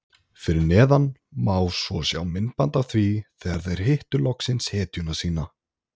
Fyrir neðan má svo sjá myndband af því þegar þeir hittu loksins hetjuna sína.